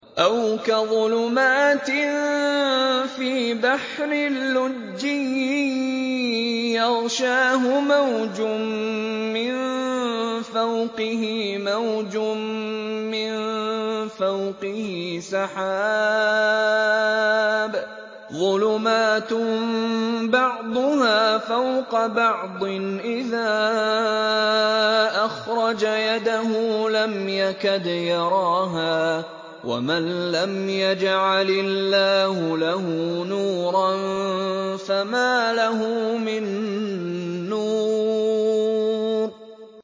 أَوْ كَظُلُمَاتٍ فِي بَحْرٍ لُّجِّيٍّ يَغْشَاهُ مَوْجٌ مِّن فَوْقِهِ مَوْجٌ مِّن فَوْقِهِ سَحَابٌ ۚ ظُلُمَاتٌ بَعْضُهَا فَوْقَ بَعْضٍ إِذَا أَخْرَجَ يَدَهُ لَمْ يَكَدْ يَرَاهَا ۗ وَمَن لَّمْ يَجْعَلِ اللَّهُ لَهُ نُورًا فَمَا لَهُ مِن نُّورٍ